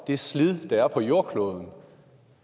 det slid der er på jordkloden